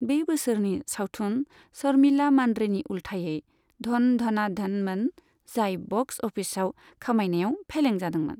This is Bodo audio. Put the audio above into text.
बे बोसोरनि सावथुन शर्मिला मान्द्रेनि उलथायै 'धन धना धन'मोन, जाय बक्स अफिसाव खामायनायाव फेलें जादोंमोन।